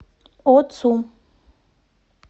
оцу